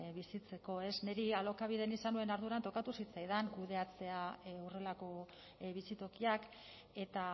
bizitzeko ez niri alokabiden izan nuen arduran tokatu zitzaidan kudeatzea horrelako bizitokiak eta